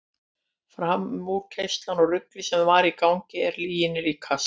Framúrkeyrslan og ruglið sem þar var í gangi er lyginni líkast.